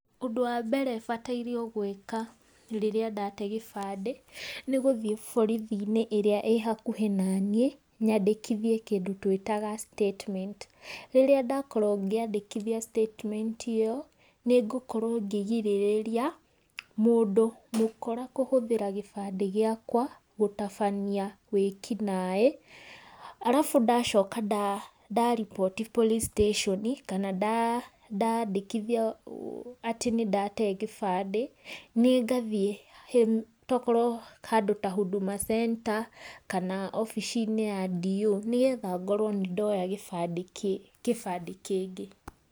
Ũndũ wa mbere batairwo gũĩka rĩrĩa ndate gĩbandĩ, nĩ gũthiĩ borithi-inĩ ĩrĩa ĩhakuhĩ naniĩ, nyandĩkithie kĩndũ twĩtaga statement, rĩrĩa ndakorwo ngĩandĩkithia statement ĩyo, nĩ ngũkorwo ngĩgirĩrĩria mũndũ mũkora kũhũthĩra gĩbandĩ gĩakwa gũtabania wĩkinaĩ, arabu ndacoka nda ndariboti police station, kana nda ndandĩkithia atĩ nĩ ndatee gĩbandĩ, nĩ ngathiĩ tokorwo handũ ta Huduma Center, kana obici-inĩ ya DO, nĩgetha ngorwo nĩndoya gĩbandĩ kĩbandĩ kĩngĩ.